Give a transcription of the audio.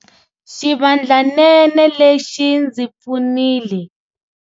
Xivandlanene lexi xi ndzi pfunile.